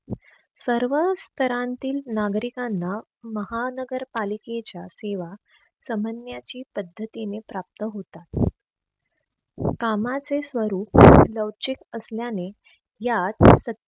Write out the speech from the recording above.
सर्व स्तरांतील नागरिकांना महानगर पालिकेच्या सेवा पद्धतीने प्राप्त होतात. कामाचे स्वरूप लवचिक असल्याने या